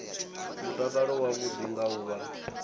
mutakalo wavhuḓi nga u vha